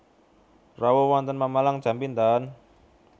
Rawuh wonten Pemalang jam pinten?